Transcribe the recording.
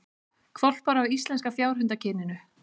Hvolpar af íslenska fjárhundakyninu